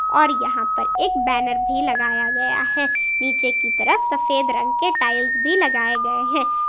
और यहां पर एक बैनर भी लगाया गया है नीचे की तरफ सफेद रंग के टाइल्स भी लगाए गए हैं।